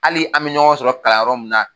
Hali an bɛ ɲɔgɔn sɔrɔ kalan yɔrɔ minna.